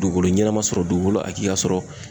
Dugukolo ɲɛnama sɔrɔ ,dugukolo hakili ka sɔrɔ.